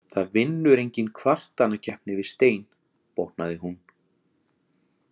Það vinnur enginn kvartanakeppni við Stein, botnaði hún.